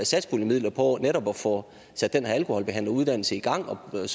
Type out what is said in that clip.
satspuljemidler på netop at få sat den her alkoholbehandleruddannelse i gang der